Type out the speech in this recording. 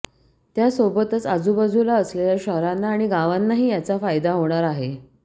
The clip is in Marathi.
त्यासोबतच आजूबाजूला असलेल्या शहरांना आणि गावांनाही याचा फायदा होणार आहे